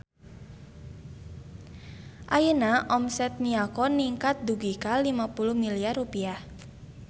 Ayeuna omset Miyako ningkat dugi ka 50 miliar rupiah